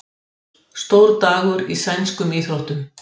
Stór dagur í sænskum íþróttum